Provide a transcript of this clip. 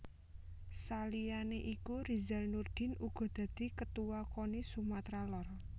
Saliyane iku Rizal Nurdin uga dadi Ketuwa Koni Sumatra Lor